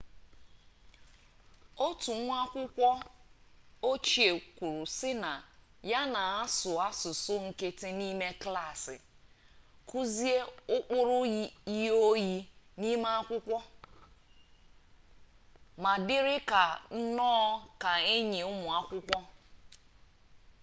otu nwa akwukwo ochie kwuru si na ya 'na-asu asusu nkiti nime klassi kuzie ukpuru iyi-oyi nime akwukwo ma diri ka nno ka enyi umu akwukwo'